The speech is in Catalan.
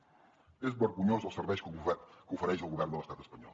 són vergonyosos els serveis que ofereix el govern de l’estat espanyol